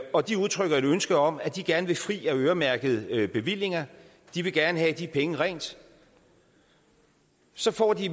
og de udtrykker et ønske om at de gerne vil gøres fri af øremærkede bevillinger at de gerne vil have de penge rent så får de